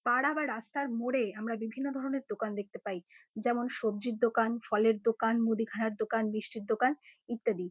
পাড়া বা রাস্তার মোড়ে আমরা বিভিন্ন ধরনের দোকান দেখতে পাই। যেমন সব্জির দোকান ফলের দোকান মুদিখানার দোকান মিষ্টির দোকান ইত্যাদি ।